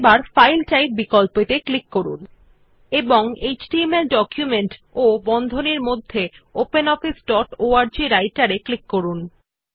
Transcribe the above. এবার file type বিকল্প ত়ে ক্লিক করুন এবং এচটিএমএল ডকুমেন্ট বন্ধনীর মধ্যে ওপেনঅফিস ডট অর্গ রাইটের অপশন এ ক্লিক করুন